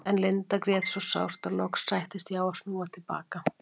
En Linda grét svo sárt að loks sættist ég á að snúa til baka.